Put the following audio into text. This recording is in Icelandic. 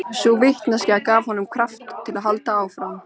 Sú vitneskja gaf honum kraft til að halda áfram.